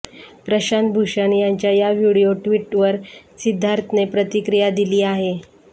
प्रशांत भूषण यांच्या या video tweet वर सिद्धार्थने प्रतिक्रिया दिली आहे